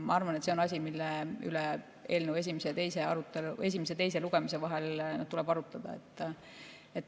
Ma arvan, et see on asi, mille üle eelnõu esimese ja teise lugemise vahel tuleb arutada.